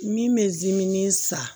Min bɛ dimi san